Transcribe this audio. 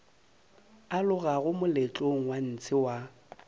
alogago moletlong wa ntshe wa